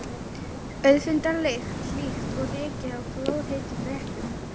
Auðfundna lykt, líkt og ryki af glóðheitum réttum.